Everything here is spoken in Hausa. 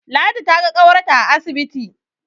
Ladi ta ga ƙawarta a asibiti